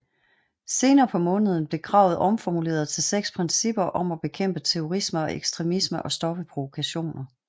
Senere på måneden blev kravet omformuleret til seks principper om at bekæmpe terrorisme og ekstremisme og stoppe provokationer